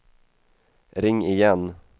ring igen